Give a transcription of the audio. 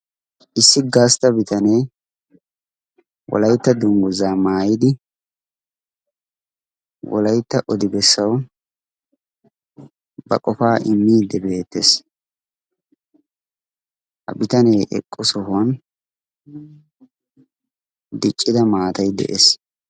issi gaastta bitanee wolaitta dungguzaa maayidi wolaytta odi bessawu ba qofaa immidi beettees ha bitanee eqqu sohuwan diccida maatay de'ees